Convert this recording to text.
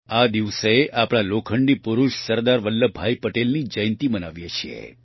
આ દિવસે આપણા લોખંડી પુરૂષ સરદાર વલ્લભભાઇ પટેલની જયંતિ મનાવીએ છીએ